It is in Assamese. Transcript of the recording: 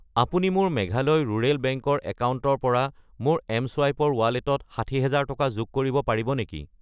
আপুনি মোৰ মেঘালয় ৰুৰেল বেংক ৰ একাউণ্টৰ পৰা মোৰ এম.চুৱাইপ ৰ ৱালেটত 60000 টকা যোগ কৰিব পাৰিব নেকি?